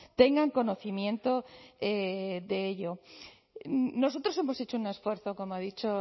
tengan conocimiento de ello nosotros hemos hecho un esfuerzo como ha dicho